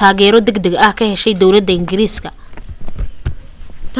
taageero degdeg ah ka heshay dowlada ingiriiska